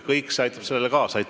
Kõik see aitab sellele kaasa.